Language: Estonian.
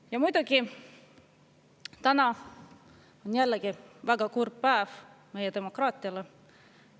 Ja muidugi täna on jällegi väga kurb päev meie demokraatiale.